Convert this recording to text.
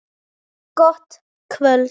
Gott kvöld.